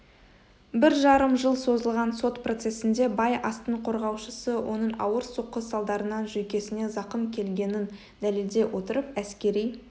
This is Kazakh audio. бір жарым жыл созылған сот процесінде бай астың қорғаушысы оның ауыр соққы салдарынан жүйкесіне зақым келгенін дәлелдей отырып әскери